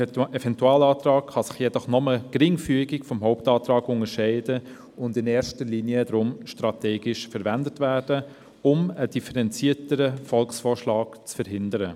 Ein Eventualantrag kann sich jedoch nur geringfügig vom Hauptantrag unterscheiden und in erster Linie darum strategisch verwendet werden, um einen differenzierten Volksvorschlag zu verhindern.